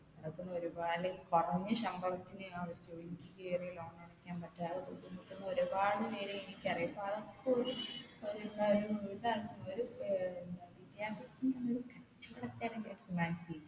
അപ്പം ഒരുപാട് കൊറഞ്ഞ ശമ്പളത്തിന് അവർ ജോലിക്ക് കയറി loan അടക്കാൻ പറ്റാതെ ബുദ്ധിമുട്ടുന്ന ഒരുപാട് പേരെ എനിക്കറിയാം അപ്പൊ അതൊക്കൊരു ഒരു കാര്യവും ഒരാൾക്കും ഒരു ഏർ എന്താ വിദ്യാഭ്യാസം